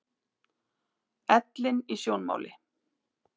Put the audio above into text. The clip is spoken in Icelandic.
Ellin í sjónmáli.